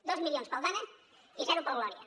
dos milions per al dana i zero per al gloria